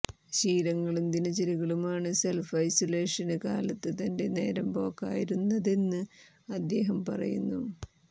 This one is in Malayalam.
ശീലങ്ങളും ദിനചര്യകളുമാണ് സെല്ഫ് ഐസൊലേഷന് കാലത്ത് തന്റെ നേരം പോക്കായിരുന്നതെന്ന് അദ്ദേഹം പറയുന്നു